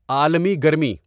عالمی گرمی